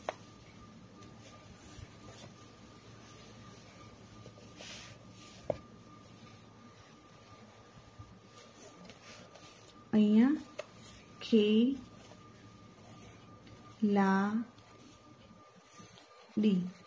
અહિયાં ખેલાડી